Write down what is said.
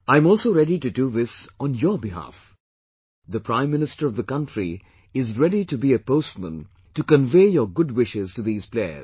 I'm also ready to do this on your behalf; the prime minister of the country is ready to be a postman to convey your good wishes to these players